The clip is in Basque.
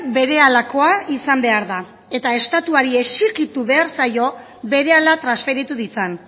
berehalakoa izan behar da eta estatuari exijitu behar zaio berehala transferitu ditzan